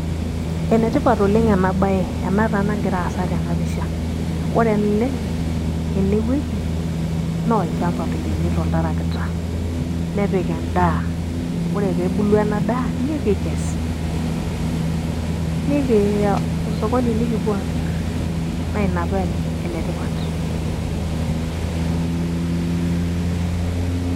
ene tipat oleng ena bae ena taa nagira aasa tena pisha. ore ele ene wueji naa olchampa loiremito oltarakita, nepik edaa. ore pee ebulu ena daa nikikes, nikiiya osokoni nikipuo amir, naa ina paa enetipat.